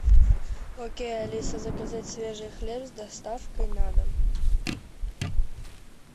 окей алиса заказать свежий хлеб с доставкой на дом